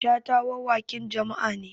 Shata wawaƙin jama'a ne